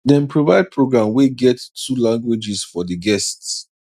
dem provide program wey get two languages for the guests